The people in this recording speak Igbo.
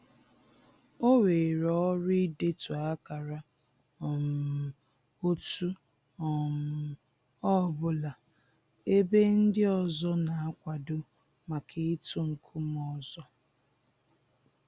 O weere ọrụ idetu akara um otu um ọbụla ebe ndị ọzọ na-akwado maka ịtụ nkume ọzọ